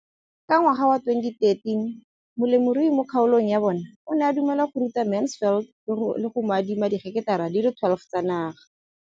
Ka ngwaga wa 2013, molemirui mo kgaolong ya bona o ne a dumela go ruta Mansfield le go mo adima di heketara di le 12 tsa naga.